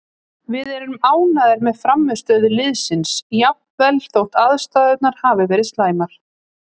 Við erum ánægðir með frammistöðu liðsins jafnvel þó aðstæðurnar hafi verið slæmar,